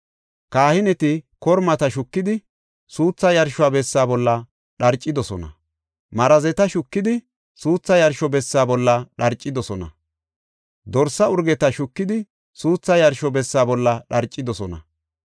Kahineti kormata shukidi suuthaa yarsho bessa bolla dharcidosona. Marazeta shukidi suuthaa yarsho bessa bolla dharcidosona. Dorsa urgeta shukidi suuthaa yarsho bessa bolla dharcidosona.